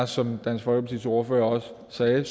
som dansk folkepartis ordfører også sagde